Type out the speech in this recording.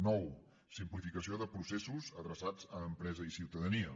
nou simplificació de processos adreçats a empresa i ciutadania